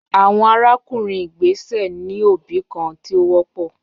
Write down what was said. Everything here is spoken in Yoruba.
Awọn arakunrin igbesẹ ni obi kan ti o wọpọ